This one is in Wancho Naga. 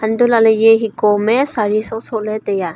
untoh lahley eye hiko am e saree soh soh ley taiya.